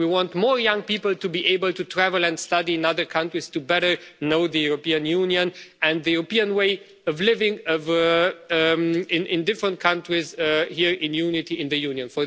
We want more young people to be able to travel and study in other countries to better know the European Union and the European way of living in different countries here in unity in the Union.